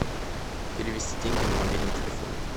перевести деньги на мобильный телефон